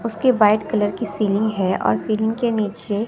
उसकी white colour की ceiling है और सीलिंग के नीचे--